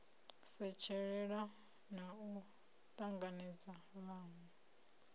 setshelela na u tanganedza vhanwe